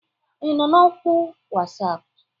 Ị nọ na oku WhatsApp?